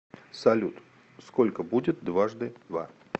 салют сколько будет дважды два